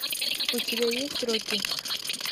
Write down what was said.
у тебя есть рокки